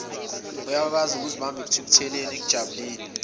uyakwaziukuzibamba ekuthukutheleni ekujabuleni